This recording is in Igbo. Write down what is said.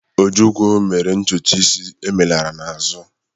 Ojukwu mere ntutu isi emelara n'azụ.